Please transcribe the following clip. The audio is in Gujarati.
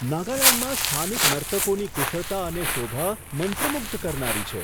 નાગાલેન્ડમાં સ્થાનિક નર્તકોની કુશળતા અને શોભા મંત્રમુગ્ધ કરનારી છે.